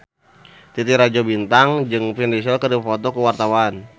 Titi Rajo Bintang jeung Vin Diesel keur dipoto ku wartawan